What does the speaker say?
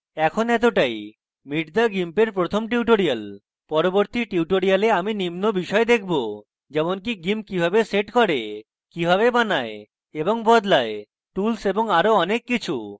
in এতটাই meet the gimp এর প্রথম tutorial পরবর্তী tutorial আমি নিম্ন বিষয় দেখব যেমনকি gimp কিভাবে set করে কিভাবে বানায় এবং বদলায় tools এবং আরো অনেক কিছু